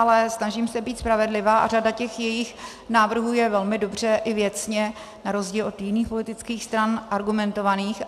Ale snažím se být spravedlivá a řada těch jejich návrhů je velmi dobře i věcně, na rozdíl od jiných politických stran, argumentovaných.